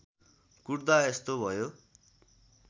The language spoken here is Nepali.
कुट्दा यस्तो भयो